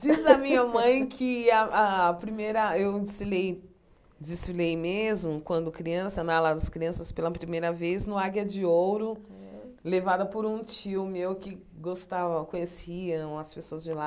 Diz a minha mãe que a a primeira eu desfilei desfilei mesmo, quando criança na ala aos crianças, pela primeira vez no Águia de Ouro, levada por um tio meu que gostava conhecia as pessoas de lá.